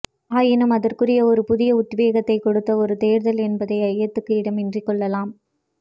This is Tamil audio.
ஆயினும் அதற்குரிய ஒரு புதிய உத்வேகத்தை கொடுத்த ஒரு தேர்தல் என்பதை ஐயத்துக்கு இடமின்றி கொள்ளலாம்